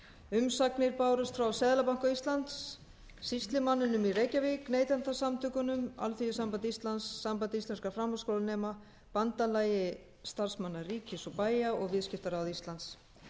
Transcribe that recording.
umsagnir bárust frá seðlabanka íslands sýslumanninum í reykjavík neytendasamtökunum alþýðusambandi íslands sambandi íslenskra framhaldsskólanema bandalagi starfsmanna ríkis og bæja og viðskiptaráði íslands